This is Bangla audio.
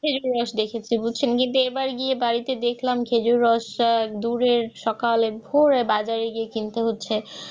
একবার দেখেছি মুসলমানদের বাড়িতে গিয়ে দেখলাম যে খেজুর গাছটা দূরে সকালে বাজারে গিয়ে কিনতে হচ্ছে